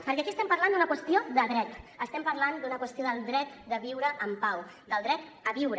perquè aquí estem parlant d’una qüestió de dret estem parlant d’una qüestió del dret de viure en pau del dret a viure